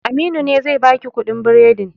Aminu ne zai baki kuɗin biredin